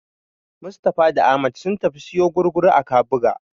Mustapha da Ahmad sun tafi su siyo gurguru a Kabuga.